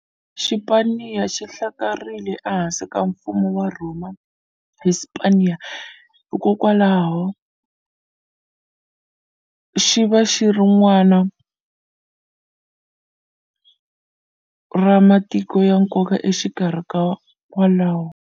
Xipaniya xi hlakarherile e hansi ka mfumo wa rhoma Hispaniya, hikwalaho xi va ri nwana ra matiko ya nkoka enkarhini wolowo.